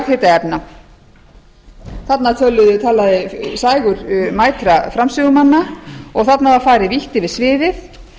og jarðhitaefna þarna talaði sægur mætra framsögumanna og þarna var farið vítt yfir sviðið